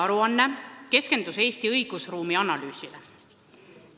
Aruanne keskendus Eesti õigusruumi analüüsile.